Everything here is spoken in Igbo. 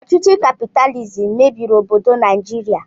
Ọchịchị kapitalizim mebiri obodo Naijiria.